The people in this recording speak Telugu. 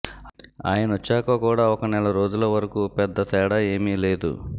ఆయనొచ్చాక కూడా ఒక నెల రోజుల వరకు పెద్ద తేడా ఏమీ లేదు